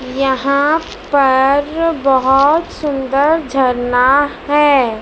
यहां पर बहोत सुंदर झरना हैं।